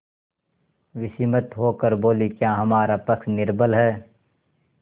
विस्मित होकर बोलीक्या हमारा पक्ष निर्बल है